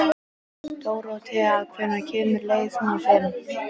Dóróthea, hvenær kemur leið númer fimm?